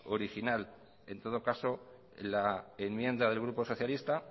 original en todo caso la enmienda del grupo socialista